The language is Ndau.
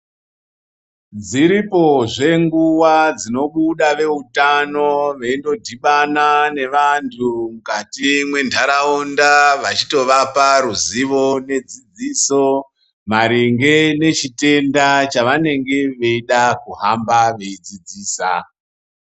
Dziripozvee nguva dzinobuda vautano veindodhibana nevantu mukati mwenharaunda vechitovapa ruziyo nedzidziso maringe nechitenda chavanenge vauda kuhamba veidzidzisa .